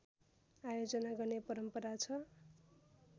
आयोजना गर्ने परम्परा छ